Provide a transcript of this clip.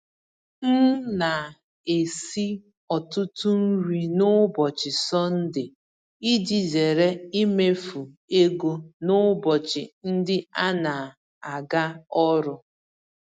M na-esi ọtụtụ nri n'ụbọchị Sọnde iji zere imefu ego n'ụbọchị ndị anaga ọrụ.